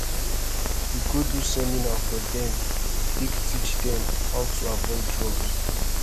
we go do seminar for dem take teach dem how to avoid drugs